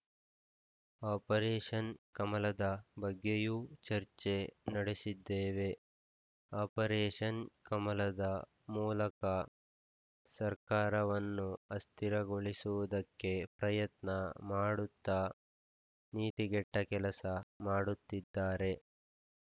operation ಕಮಲದ ಬಗ್ಗೆಯೂ ಚರ್ಚೆ ನಡೆಸಿದ್ದೇವೆ ಆಪರೇಷನ್‌ ಕಮಲದ ಮೂಲಕ ಸರ್ಕಾರವನ್ನು ಅಸ್ಥಿರಗೊಳಿಸುವುದಕ್ಕೆ ಪ್ರಯತ್ನ ಮಾಡುತ್ತಾ ನೀತಿಗೆಟ್ಟಕೆಲಸ ಮಾಡುತ್ತಿದ್ದಾರೆ